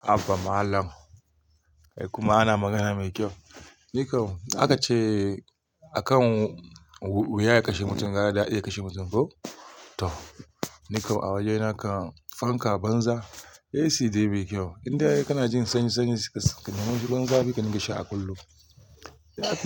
Haba Mallam. Kai kuma ana magana mai kyau. Ni kam aka ce a kan wuya ya kashe mutum, gara daddi ya kashe mutum ko? Toh. Nikam a waje na kan fanka banza. AC dai bai kyau. Indai kana jin sanyi sanyi suka suka. Ruwan zafi ka ringa sha a kullum.